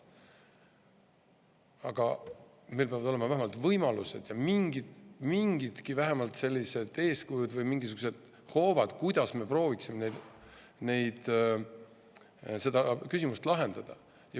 Aga meil peavad olema vähemalt võimalused ja mingidki vähemalt sellised eeskujud või mingisugused hoovad, mille abil me prooviksime seda küsimust lahendada.